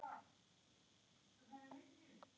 Maki Soffía Kjaran.